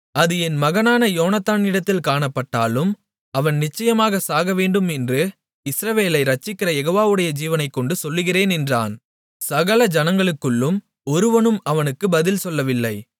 அது என் மகனான யோனத்தானிடத்தில் காணப்பட்டாலும் அவன் நிச்சயமாக சாகவேண்டும் என்று இஸ்ரவேலை இரட்சிக்கிற யெகோவாவுடைய ஜீவனைக்கொண்டு சொல்கிறேன் என்றான் சகல ஜனங்களுக்குள்ளும் ஒருவனும் அவனுக்குப் பதில் சொல்லவில்லை